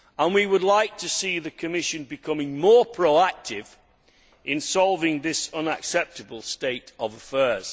We would like to see the Commission becoming more proactive in solving this unacceptable state of affairs.